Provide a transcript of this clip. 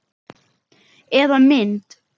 Eða mynd.